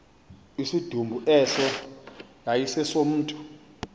isidumbu eso yayisesomntu